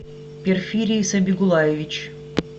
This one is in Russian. перфирий сабигулаевич